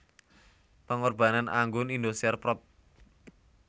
Pengorbanan Anggun Indosiar prod